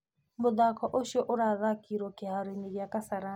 mũthaako ũcio urathakĩirwo kĩhaaro gĩa Kasarani